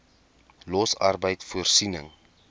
los arbeid voorsiening